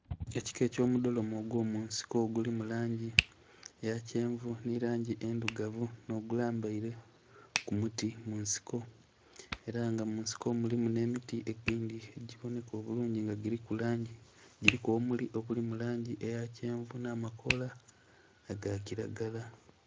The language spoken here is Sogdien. Ekika ekyo mudholome ogwo munsiko oguli mu langi eya kyenvu nhi langi endhirugavu nho gulambaire ku muti munsiko era nga munsiko mulimu nhe miti egindhi egibonheka obulungi nga giliku langi, giliku obumuli obuli mulangi eya kyenvu nha makoola aga kilagala.